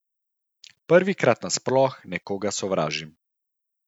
Prvikrat nasploh nekoga sovražim.